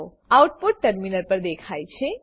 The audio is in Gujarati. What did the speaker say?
આઉટપુટ ટર્મિનલ પર દેખાય છે